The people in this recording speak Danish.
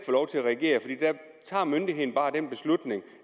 lov til at reagere fordi myndigheden bare træffer den beslutning